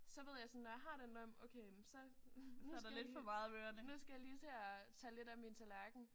Så ved jeg sådan når jeg har den drøm okay jamen så nu skal jeg lige nu skal jeg lige til at tage lidt af min tallerken